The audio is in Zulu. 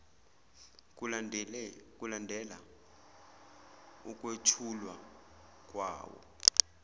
kulandela ukwethulwa kwawo